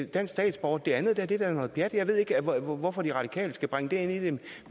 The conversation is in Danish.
dansk statsborger det andet er da noget pjat jeg ved ikke hvorfor de radikale skal bringe det ind